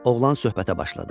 Oğlan söhbətə başladı.